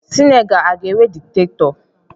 Senegal a ga-enwe dikitatọ